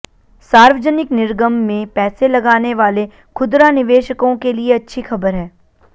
सार्वजनिक निर्गम में पैसे लगाने वाले खुदरा निवेशकों के लिए अच्छी खबर है